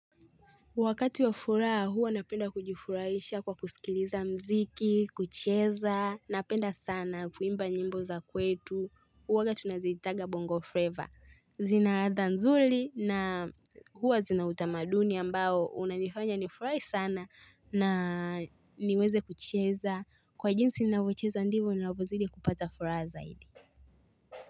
Wakati wa furaha huwa napenda kujifurahisha kwa kusikiliza mziki, kucheza, napenda sana kuimba nyimbo za kwetu, huwaga tunaziitanga bongo flavour. Zina ladha nzuri na huwa zina utamaduni ambao unanifanya nifurahi sana na niweze kucheza. Kwa jinsi ninavyochezo ndivyo ninavyozidi kupata furaha zaidi.